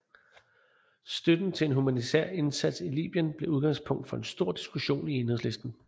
Støtten til en humanitær indsats i Libyen blev udgangspunkt for en stor diskussion i Enhedslisten